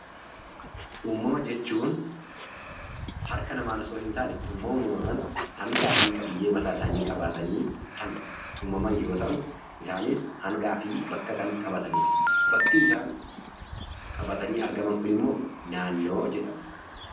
Uumama jechuun harka namaan osoo hin taane uumamumaan hangaa fi qabiyyee mataa isaanii qabaatanii kan uumaman yoo ta'u, hangaa fi bakka kan qabatan bakki isaan qabatanii argaman kun immoo naannoo jedhama.